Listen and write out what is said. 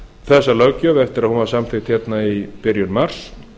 þessa löggjöf eftir að hún var samþykkt hérna í byrjun mars